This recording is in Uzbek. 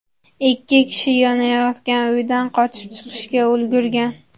Ikki kishi yonayotgan uydan qochib chiqishga ulgurgan.